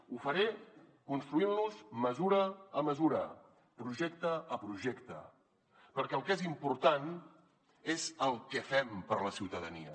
ho faré construint los mesura a mesura projecte a projecte perquè el que és important és el que fem per a la ciutadania